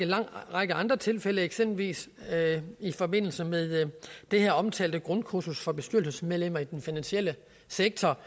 lang række andre tilfælde eksempelvis i forbindelse med det her omtalte grundkursus for bestyrelsesmedlemmer i den finansielle sektor